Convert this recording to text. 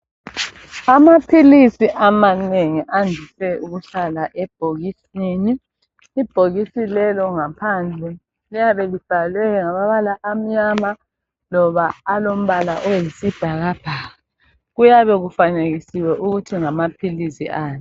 Amaphilisi amanengi andise ukuhlala ebhokisini .Ibhokisi lelo ngaphandle liyabe libhalwe ngamabala amnyama loba alombala oyisibhakabhaka. Kuyabe kufanekisiwe ukuthi ngamaphilisi ani.